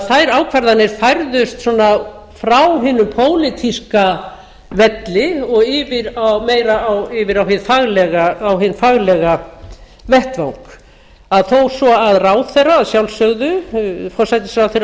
þær ákvarðanir færðust svona frá hinum pólitíska velli og meira yfir á hinn faglega vettvang að þó svo að ráðherra að sjálfsögðu forsætisráðherra